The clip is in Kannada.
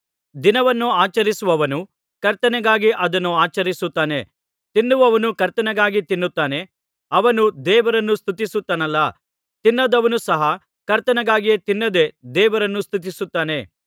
ದಿನವನ್ನು ಆಚರಿಸುವವನು ಕರ್ತನಿಗಾಗಿ ಅದನ್ನು ಆಚರಿಸುತ್ತಾನೆ ತಿನ್ನುವವನು ಕರ್ತನಿಗಾಗಿ ತಿನ್ನುತ್ತಾನೆ ಅವನು ದೇವರನ್ನು ಸ್ತುತಿಸುತ್ತಾನಲ್ಲಾ ತಿನ್ನದವನು ಸಹ ಕರ್ತನಿಗಾಗಿಯೇ ತಿನ್ನದೆ ದೇವರನ್ನು ಸ್ತುತಿಸುತ್ತಾನೆ